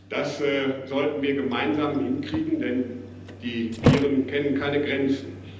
hat. Das sollten wir gemeinsam hinkriegen, denn die Viren kennen keine Grenzen.